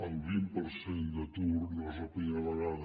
el vint per cent d’atur no és la primera vegada